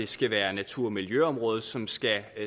skal være natur og miljøområdet som skal